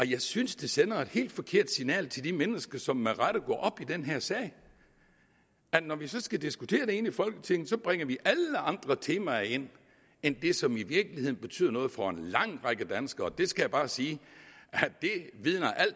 jeg synes det sender et helt forkert signal til de mennesker som med rette går op i den her sag at når vi så skal diskutere det inde i folketinget bringer vi alle andre temaer ind end det som i virkeligheden betyder noget for en lang række danskere og der skal jeg bare sige